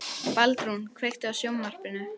Baldrún, kveiktu á sjónvarpinu.